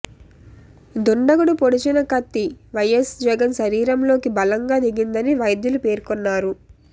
దుండగుడు పొడిచిన కత్తి వైఎస్ జగన్ శరీరంలోకి బలంగా దిగిందని వైద్యులు పేర్కొన్నారు